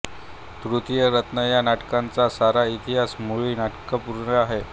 तृतीय रत्न या नाटकाचा सारा इतिहासच मुळी नाट्यपूर्ण आहे